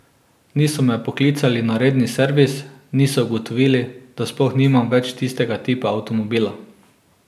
Niso me poklicali na redni servis, niso ugotovili, da sploh nimam več tistega tipa avtomobila.